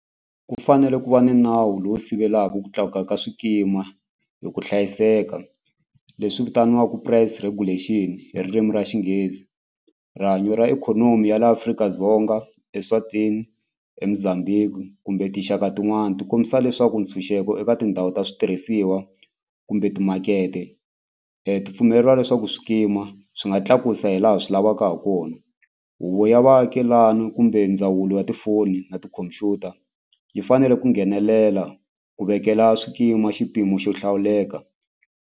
Ku fanele ku va ni nawu lowu sivelaka ku tlakuka ka swikima hi ku hlayiseka leswi vitaniwaka price regulation hi ririmi ra Xinghezi rihanyo ra ikhonomi ya laha Afrika-Dzonga, eSwatini, eMozambique kumbe tinxaka tin'wani ti kombisa leswaku ntshunxeko eka tindhawu ta switirhisiwa kumbe timakete ti pfumeleriwa leswaku swikima swi nga tlakusa hilaha swilo lavaka ha kona huvo ya vaakelani kumbe ndzawulo ya tifoni na tikhompyuta yi fanele ku nghenelela ku vekela swikima xipimo xo hlawuleka.